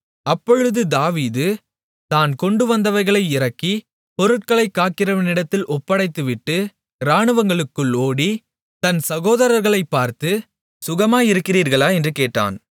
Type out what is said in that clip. அப்பொழுது தாவீது தான் கொண்டுவந்தவைகளை இறக்கி பொருட்களை காக்கிறவனிடத்தில் ஒப்படைத்துவிட்டு இராணுவங்களுக்குள் ஓடி தன் சகோதரர்களைப்பார்த்து சுகமாயிருக்கிறீர்களா என்று கேட்டான்